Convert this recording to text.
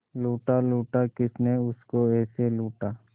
लूटा लूटा किसने उसको ऐसे लूटा